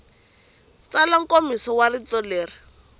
tsala nkomiso wa rito leri